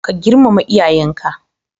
Ka girmama iyayan ka